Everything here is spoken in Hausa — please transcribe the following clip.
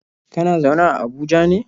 Kana zaune a Abuja ne?